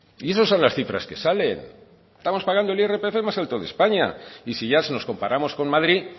y eso son las cifras que salen estamos pagando el irpf más alto de españa y si ya si nos comparamos con madrid